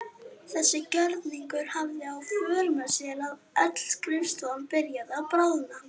Þessi gjörningur hafði í för með sér að öll skrifstofan byrjaði að bráðna.